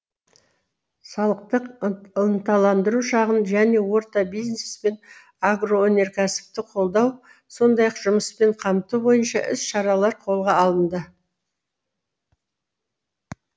салықтық ынталандыру шағын және орта бизнес пен агроөнеркәсіпті қолдау сондай ақ жұмыспен қамту бойынша іс шаралар қолға алынды